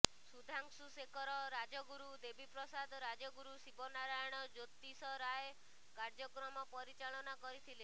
ସୁଧାଂଶୁ ଶେଖର ରାଜଗୁରୁ ଦେବୀପ୍ରସାଦ ରାଜଗୁରୁ ଶିବନାରାୟଣ ଜ୍ୟୋତିଷ ରାୟ କାର୍ଯ୍ୟକ୍ରମ ପରିଚାଳନା କରିଥିଲେ